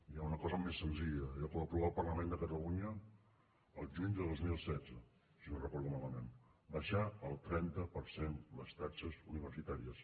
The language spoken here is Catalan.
hi ha una cosa més senzilla allò que va aprovar el parlament de catalunya el juny de dos mil setze si no ho recordo malament baixar el trenta per cent les taxes universitàries